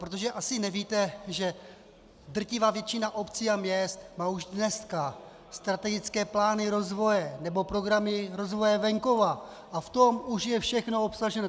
Protože asi nevíte, že drtivá většina obcí a měst má už dneska strategické plány rozvoje nebo programy rozvoje venkova a v tom už je všechno obsaženo.